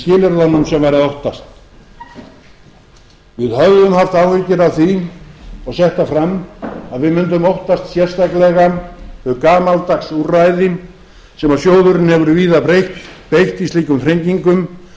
skilyrðunum sem væri að óttast við höfðum haft áhyggjur af því og sett það fram að við mundum óttast sérstaklega þau gamaldags úrræði sem sjóðurinn hefur víða beitt í slíkum þrengingum